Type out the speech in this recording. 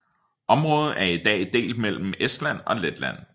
Området er i dag delt mellem Estland og Letland